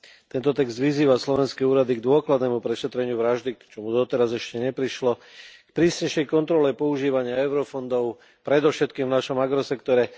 Tento text vyzýva slovenské úrady k dôkladnému prešetreniu vraždy, k čomu doteraz ešte neprišlo, k prísnejšej kontrole používania eurofondov, predovšetkým v našom agrosektore.